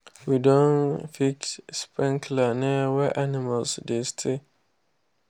we don fix sprinkler near where animals dey stay.